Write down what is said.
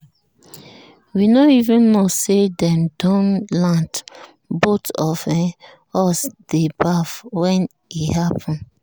we no even know say dem don land both of um us dey baff when e happen.